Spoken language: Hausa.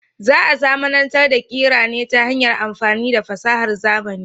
Za a zamanantar da kira ne ta hanyar amfani da fasahar zamani.